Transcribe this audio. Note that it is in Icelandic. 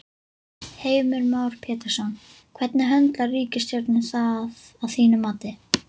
Heimir Már Pétursson: Hvernig höndlar ríkisstjórnin það að þínu mati?